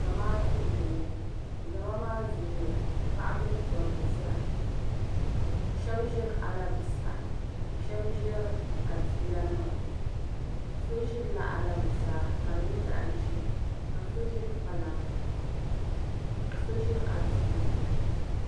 zamaatu n boŋo zama maa zooya paɣaba ni dabba zaa shab ʒiri alabusahi ka shab ƶiri adiila nima so ʒirila alabusaa ka di nyɛ zaɣ ʒiɛ ka so ʒiri kpalaŋa ka so ʒiri adilla